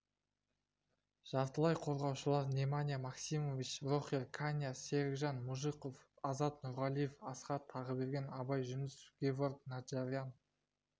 жартылай қорғаушылар неманья максимович рохер каньяс серікжан мұжықов азат нұрғалиев асхат тағыберген абай жүнісов геворг наджарян